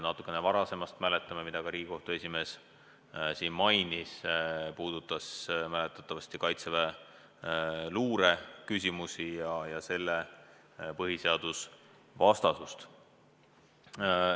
Natukene varasemast mäletame juhtumit, mida ka Riigikohtu esimees mainis: see puudutas mäletatavasti kaitseväeluure küsimusi ja selle põhiseadusvastasust.